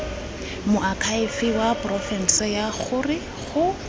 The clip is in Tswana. moakhaefe wa porofense gore go